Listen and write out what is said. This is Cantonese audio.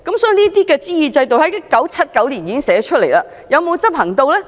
這類諮議制度在1979年已經寫下來，但有否執行？